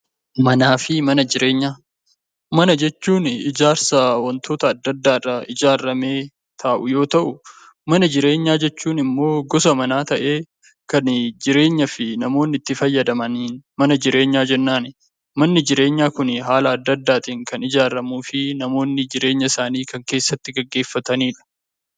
Manaa fi mana jireenyaa. Mana jechuun ijaarsa wantoota adda addaarraa ijaarramee taa'u yoo ta'u mana jireenyaa jechuun immoo gosa manaa ta'ee kanii jireenyafii namoonni itti fayyadamaniin mana jireenyaa jennaani. Manni jireenyaa kunii haala adda addaatiin kan ijaaramuu fi namoonni jireenya isaanii kan keessatti geggeeffataniidha.